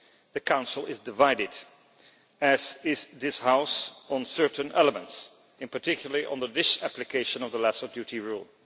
The Council is divided as is this House on certain elements and particularly on the disapplication of the Lesser Duty Rule.